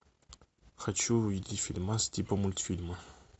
хочу увидеть фильмас типа мультфильма